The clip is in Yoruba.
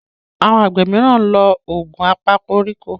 Àwọn àgbẹ míràn nlọ Òògùn apakoríko